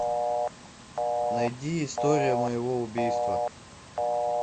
найди история моего убийства